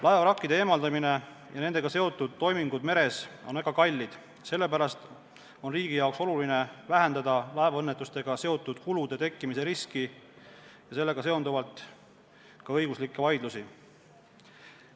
Laevavrakkide eemaldamine ja nendega seotud muud toimingud meres on väga kallid, sellepärast on riigi jaoks oluline vähendada laevaõnnetustega seotud kulude tekkimise riski ja sellega seonduvalt ka õiguslikke vaidlusi.